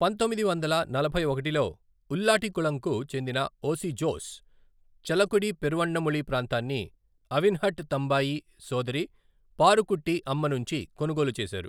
పంతొమ్మిది వందల నలభై ఒకటిలో ఉల్లాట్టికుళంకు చెందిన ఓసి జోస్, చలకుడి పెరువన్నముళి ప్రాంతాన్ని అవిన్హట్ తంబాయి సోదరి పారుకుట్టి అమ్మ నుంచి కొనుగోలు చేశారు.